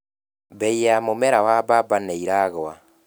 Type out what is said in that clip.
Mbei ya mũmera wa mbamba nĩiragũa.